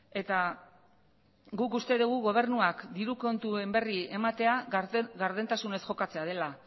eta guk uste dugu gobernuak diru kontuen berri ematea gardentasunez jokatzea dela